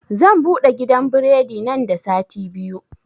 Zan buɗe gidan biredi nan da sati biyu